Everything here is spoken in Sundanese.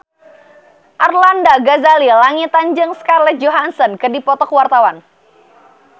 Arlanda Ghazali Langitan jeung Scarlett Johansson keur dipoto ku wartawan